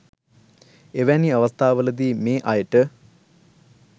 එවැනි අවස්ථාවලදී මේ අයට